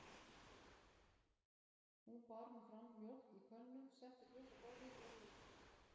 Hún bar nú fram mjólk í könnu, setti glös á borðið og jólaköku.